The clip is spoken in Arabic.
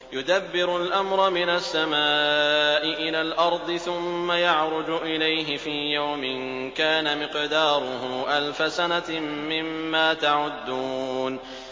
يُدَبِّرُ الْأَمْرَ مِنَ السَّمَاءِ إِلَى الْأَرْضِ ثُمَّ يَعْرُجُ إِلَيْهِ فِي يَوْمٍ كَانَ مِقْدَارُهُ أَلْفَ سَنَةٍ مِّمَّا تَعُدُّونَ